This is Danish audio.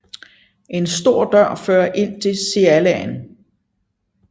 En stor dør fører ind til cellaen